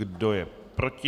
Kdo je proti?